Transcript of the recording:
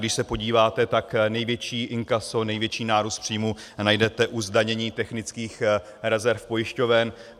Když se podíváte, tak největší inkaso, největší nárůst příjmů, najdete u zdanění technických rezerv pojišťoven.